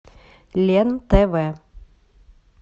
лен тв